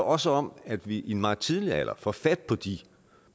også om at vi i en meget tidlig alder får fat på de